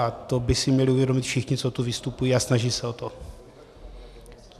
A to by si měli uvědomit všichni, co tu vystupují a snaží se o to.